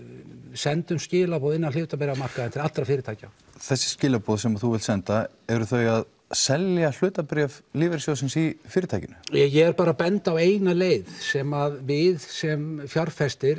sendum við skilaboð á hlutabréfamarkaðinn til allra fyrirtækja þessi skilaboð sem þú vilt senda eru þau að selja hlutabréf lífeyrissjóðsins í fyrirtækinu ég er bara að benda á eina leið sem við sem fjárfestar